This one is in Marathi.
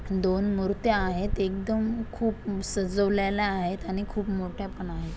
दोन मुर्त्या आहेत एकदम खूप सजवलेल्या आहेत आणि खूप मोठ्या पण आहेत.